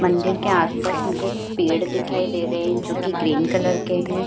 मंदिर के आस-पास मुझे पेड़ दिखाई दे रहे हैं जो कि ग्रीन कलर के हैं।